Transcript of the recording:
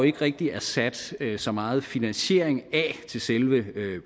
ikke rigtig er sat så meget finansiering af til selve